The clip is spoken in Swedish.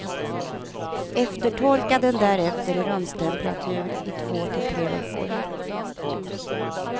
Eftertorka den därefter i rumstemperatur i två till tre veckor.